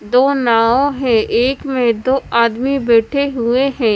दो नाव है एक में दो आदमी बैठे हुए है।